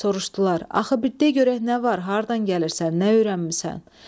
Soruşdular: "Axı bir de görək nə var, hardan gəlirsən, nə öyrənmisən?"